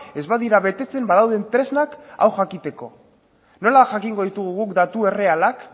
ez badira betetzen badauden tresnak hau jakiteko nola jakingo ditugu guk datu errealak